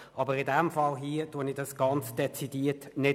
Aber in diesem Fall tue ich das dezidiert nicht.